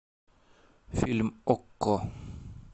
фильм окко